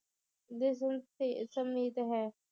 ਦੇ ਸੁਨ~ ਤੇ ਸਮੀਪ ਹੈ